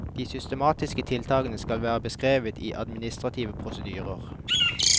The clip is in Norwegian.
De systematiske tiltakene skal være beskrevet i administrative prosedyrer.